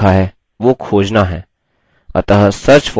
अतः search for field में ramesh type करें